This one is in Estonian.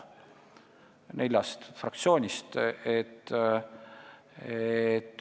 Nad on neljast fraktsioonist.